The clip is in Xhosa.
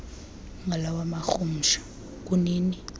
ngalawa marhumsha kunini